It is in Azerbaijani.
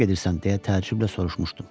Hara gedirsən deyə təəccüblə soruşmuşdum.